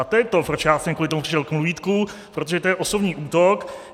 A to je to, proč já jsem kvůli tomu přišel k mluvítku, protože to je osobní útok.